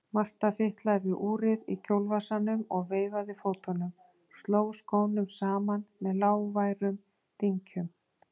Marta fitlaði við úrið í kjólvasanum og veifaði fótunum, sló skónum saman með lágværum dynkjum.